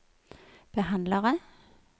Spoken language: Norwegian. behandlere